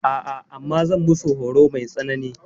A'a, amma zan musu horo mai tsanani.